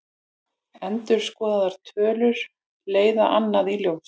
Endurskoðaðar tölur leiða annað í ljós